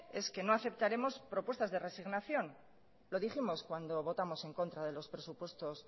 es que no aceptaremos propuestas de resignación lo dijimos cuando votamos en contra de los presupuestos